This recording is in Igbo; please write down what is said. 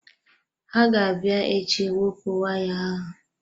Ha ga-abịa echi iwepụ waya ahụ.